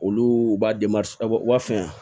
Olu u b'a u b'u wa fɛn